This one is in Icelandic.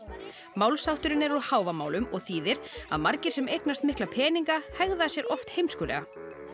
málshátturinn er úr Hávamálum og þýðir að margir sem eignast mikla peninga hegða sér oft heimskulega